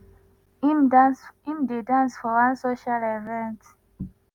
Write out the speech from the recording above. im dey dance for one social event.